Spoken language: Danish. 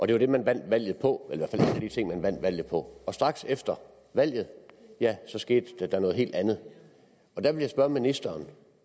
det var det man vandt valget på eller i de ting man vandt valget på straks efter valget skete der noget helt andet jeg vil spørge ministeren